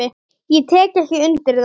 Ég tek ekki undir það.